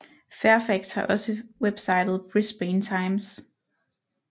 Fairfax har også websitet Brisbane Times